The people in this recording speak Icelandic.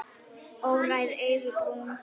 Óræð augun brún.